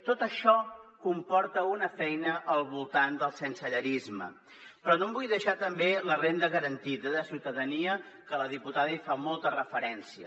tot això comporta una feina al voltant del sensellarisme però no em vull deixar tampoc la renda garantida de ciutadania que la diputada hi fa molta referència